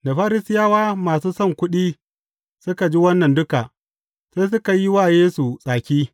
Da Farisiyawa masu son kuɗi suka ji wannan duka, sai suka yi wa Yesu tsaki.